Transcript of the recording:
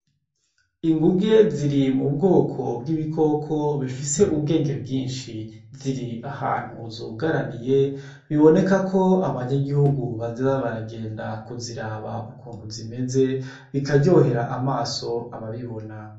Inguge ziri mu bikoko bifise ubwenge bwinshi. Ziri ahantu zugaraniye, biboneka ko abanyagihugu bazoza baragenda kuziraba ukuntu zimeze, bikaryohera amaso ababibona.